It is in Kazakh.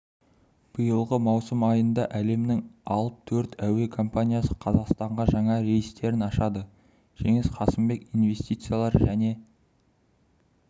биылғы маусым айында әлемнің алып төрт әуе компаниясы қазақстанға жаңа рейстерін ашады жеңіс қасымбек инвестициялар және